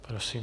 Prosím.